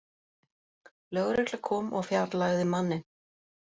Lögregla kom og fjarlægði manninn